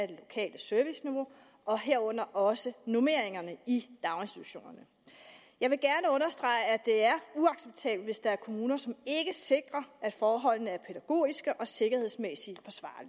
det lokale serviceniveau og herunder også normeringerne i daginstitutionerne jeg vil gerne understrege at det er uacceptabelt hvis der er kommuner som ikke sikrer at forholdene er pædagogisk og sikkerhedsmæssigt